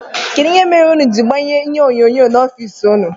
Kedụ ihe mere ụnụ jiri gbanye ihe onyonyo n'ofici ụnụ?